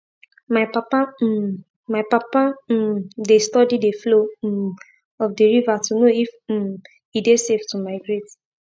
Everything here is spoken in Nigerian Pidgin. my papa um my papa um dey study the flow um of the river to know if um e dey safe to migrate